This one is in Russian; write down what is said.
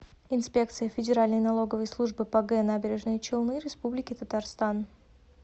инспекция федеральной налоговой службы по г набережные челны республики татарстан